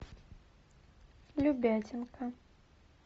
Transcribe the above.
любятинка